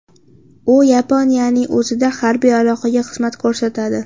U Yaponiyaning o‘zida harbiy aloqaga xizmat ko‘rsatadi.